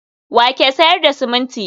wa ke sayar da siminti?